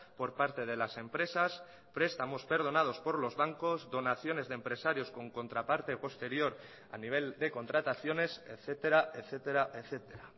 por parte de las empresas prestamos perdonados por los bancos donaciones de empresarios con contraparte posterior a nivel de contrataciones etcétera etcétera etcétera